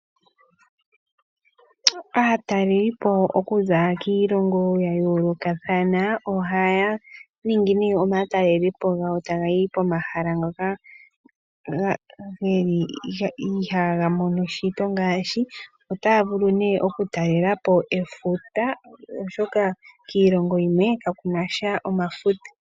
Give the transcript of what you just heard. Aatalelipo okuza kiilongo ya yoolokathana ohaya ningi nee omatalelepo gawo taya yi pomahala ngoka geli ihaya mono shito ngaashi otaya vulu nee oku talelapo efuta oshoka kiilongo yimwe kakuna efuta